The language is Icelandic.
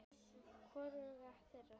Hvoruga þeirra.